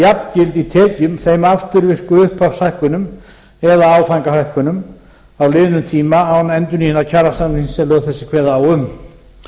jafngild í tekjum þeim afturvirku upphafshækkunum eða áfangahækkunum á liðnum tíma án endurnýjunar kjarasamnings sem lög þessi kveða á um